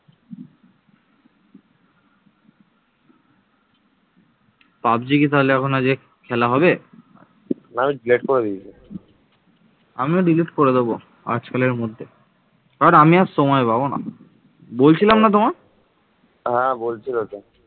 মগধের কথা রামায়ণ এবং মহাভারতে পাওয়া যায় বুদ্ধের সময়ে এটি ছিল ভারতের চারটি প্রধান রাজ্যের মধ্যে একটি